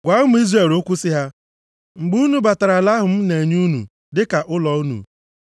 “Gwa ụmụ Izrel okwu sị ha, ‘mgbe unu batara ala ahụ m na-enye unu dịka ụlọ unu,